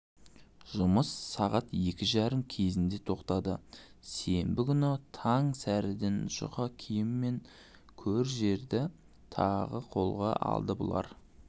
жұмыс сағат екі жарым кезінде тоқтады сенбі күні таң сәріден жұқа киім мен көр-жерді тағы қолға алды бұлар